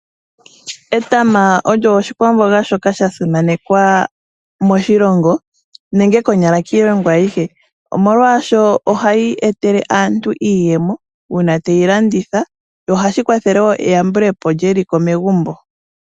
Etama olyo oshikwamboga shoka sha simanekwa moshilongo nenge konyala kiilongo ayihe omolwaasho oha yi etele aantu iiyemo uuna te yi landitha yo oha shi kwathele woo eyambulepo lyeliko megumbo.